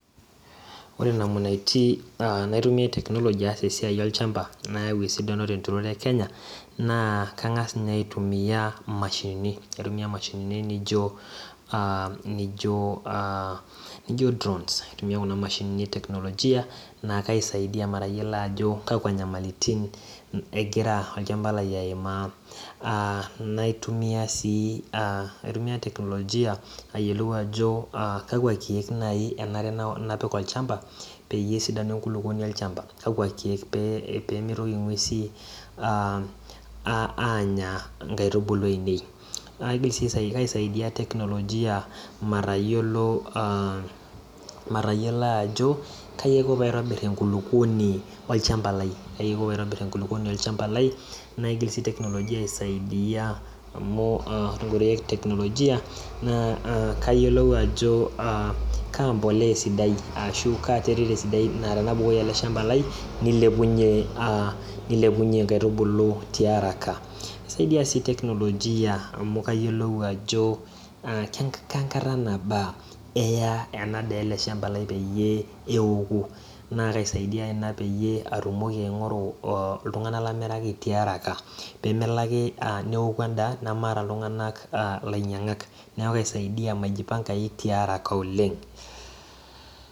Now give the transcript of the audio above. Ore namunaiti naitumia technology aas esiai tolosho le Kenya naa kangas ninye aitunia mashinini naijo drawns kaitumia kuna mashinini nakaaisaidia matayiolo ajo kakwa nyamalitin egira olchamba lai aitumia naitumia teknolojia ayiolou ajo kakwa kiek apik olchamba pesidanu enkulukuoni olchamba pemitoki ngwesi anya nkaitubulu ainei kisaidia teknolojia matayiolo ajo kai ako paitbir enkulukuoni olchamba lai amu ore teknolojia na kayiolou ajo kaa embolea eisidai aatanapik atua olchamba lai nilepunye nkaitubulu tiaraka kisaidia si teknolojia amu kayiolou ajo kenamkaga naba rya enadaa peoku na kasidai ena patumoki aingoru ltunganak lamiraki tearaka pemelo ake neoku endaa namaata ltunganak lainyangak neaky kasidai maijipwngai tearaka oleng